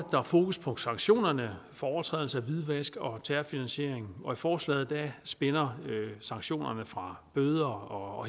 er fokus på sanktionerne for overtrædelse for hvidvask og terrorfinansiering og i forslaget spænder sanktionerne fra bøder og